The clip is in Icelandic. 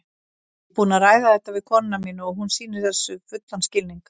Ég er búinn að ræða þetta við konuna mína og hún sýnir þessu fullan skilning.